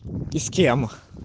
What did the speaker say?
ты с кем